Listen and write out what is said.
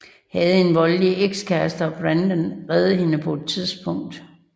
Havde en voldelig ekskæreste og Brandon redder hende på et tidspunkt